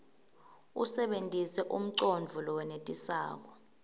usebentise umcondvo lowenetisako